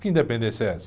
Que independência é essa?